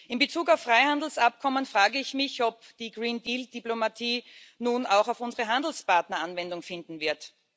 In Bezug auf Freihandelsabkommen frage ich mich, ob die Green Deal Diplomatie nun auch auf unsere Handelspartner Anwendung finden wird.